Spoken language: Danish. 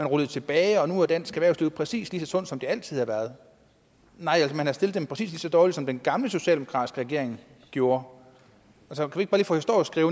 ruller tilbage og at nu er dansk erhvervsliv præcis lige så sundt som det altid har været nej man har stillet dem præcis lige så dårligt som den gamle socialdemokratiske regering gjorde